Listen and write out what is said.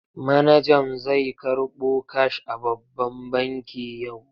Manajan zai karɓo kash a babban banki yau.